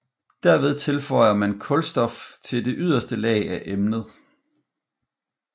Derved tilfører man kulstof til det yderste lag af emnet